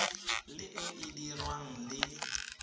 le e e dirwang le